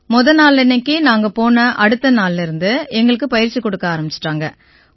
முத நாளன்னைக்கு நாங்க போன அடுத்த நாளிலிருந்து எங்களுக்கு பயிற்சி கொடுக்க ஆரம்பிச்சுட்டாங்க